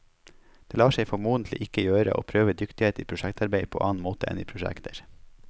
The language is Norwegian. Det lar seg formodentlig ikke gjøre å prøve dyktighet i prosjektarbeid på annen måte enn i prosjekter.